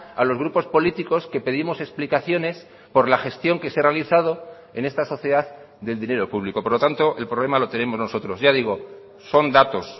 alos grupos políticos que pedimos explicaciones por la gestión que se ha realizado en esta sociedad del dinero público por lo tanto el problema lo tenemos nosotros ya digo son datos